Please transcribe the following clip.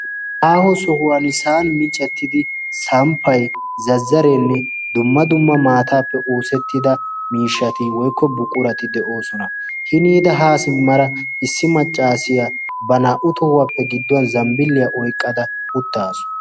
aaho sohuwan sa'an miiccettidi samppay zazzareenne dumma dumma maataappe oosettida miishshati woykko buqurati de'oosona hiniida haa simmara issi maccaasiya ba naa"u tohuwaappe gidduwan zambbiliyaa oyqqada uttaasu